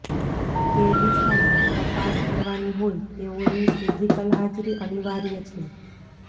તે દિશામાં તપાસ કરવાની હોય તેઓની ફિઝિકલ હાજરી અનિવાર્ય છે